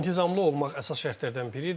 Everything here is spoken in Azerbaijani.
İntizamlı olmaq əsas şərtlərdən biridir.